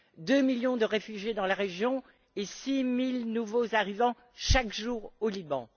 deux millions de réfugiés dans la région et six mille nouveaux arrivants chaque jour au Liban.